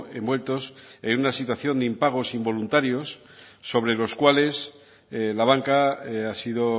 envueltos en una situación de impagos involuntarios sobre los cuales la banca ha sido